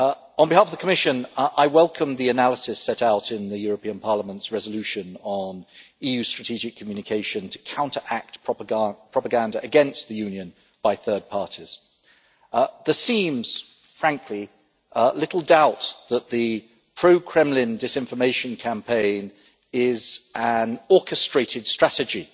On behalf of the Commission, I welcome the analysis set out in Parliament's resolution on EU strategic communication to counteract propaganda against the Union by third parties. There seems, frankly, little doubt that the pro Kremlin disinformation campaign is an orchestrated strategy,